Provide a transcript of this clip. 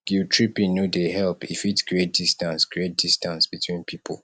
guilttripping no dey help e fit create distance create distance between pipo